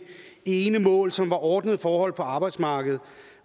ene mål som var ordnede forhold på arbejdsmarkedet